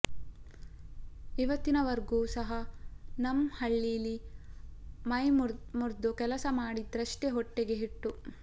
ಇವತ್ತಿನವರ್ಗೂ ಸಹ ನಂ ಹಳ್ಳೀಲಿ ಮೈಮುರ್ದು ಕೆಲಸ ಮಾಡಿದ್ರಷ್ಟೇ ಹೊಟ್ಟೆಗ್ ಹಿಟ್ಟು